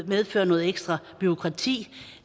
medføre noget ekstra bureaukrati